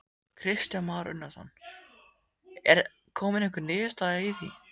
Kristján Már Unnarsson: Er komin einhver niðurstaða í því?